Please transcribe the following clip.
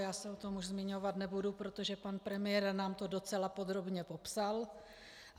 Já se o tom už zmiňovat nebudu, protože pan premiér nám to docela podrobně popsal.